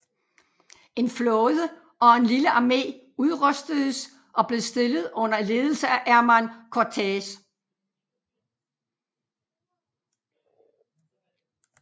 En flåde og en lille armé udrustedes og blev stillet under ledelse af Hernán Cortés